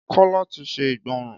Kọ́ láti se igbonran